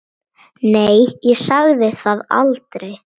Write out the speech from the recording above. Nei, ég sagði það aldrei.